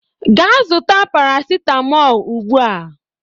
Gaa zụta paracetamol ugbu a.